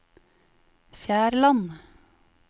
Fjærland